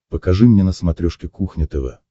покажи мне на смотрешке кухня тв